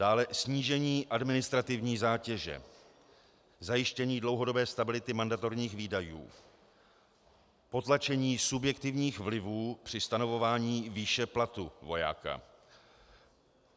Dále snížení administrativní zátěže, zajištění dlouhodobé stability mandatorních výdajů, potlačení subjektivních vlivů při stanovování výše platu vojáka.